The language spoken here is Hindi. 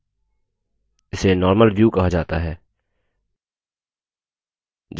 जब प्रस्तुति किसी any view में होती है